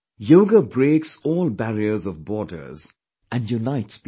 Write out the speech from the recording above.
Yoga breaks all barriers of borders and unites people